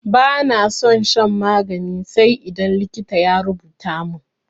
Bana son shan magani sai idan likita ya rubuta min.